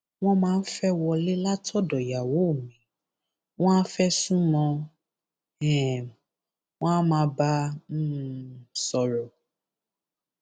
wọn máa fẹẹ wọlé látọdọ ìyàwó mi wọn áà fẹ sún mọ ọn um wọn á máa bá a um sọrọ